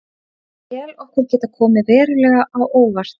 Ég tel okkur geta komið verulega á óvart.